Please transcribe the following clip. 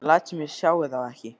Ég læt sem ég sjái þá ekki.